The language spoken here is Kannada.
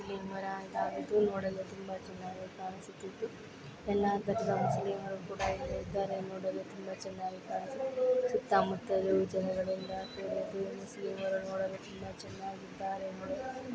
ಇಲ್ಲಿ ನೋಡಲು ತುಂಬಾ ಚೆನ್ನಾಗಿ ಕಾಣಿಸಿದ್ದು ಎಲ್ಲಾ ತರಹದ ಮುಸ್ಲಿಂಮರು ಕೂಡಾ ಇಲ್ಲಿ ಇದ್ದಾರೆ. ನೋಡಲು ತುಂಬಾ ಚೆನ್ನಾಗಿ ಕಾಣಿಸಿದ್ದು ಸುತ್ತಾ ಮುಟ್ಟಲು ಜನಗಳಿಂದ ಕೂಡಿದ್ದು ಈ ಮುಸ್ಲಿಂಮರು ನೋಡಲು ತುಂಬಾ ಚೆನ್ನಾಗಿ ಇದ್ದಾರೆ .